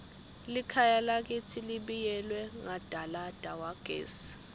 likhaya lakitsi libiyelwe ngadalada wagesi